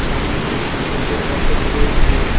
সামনে কিছু দুধের প্যাকেট রয়েছে।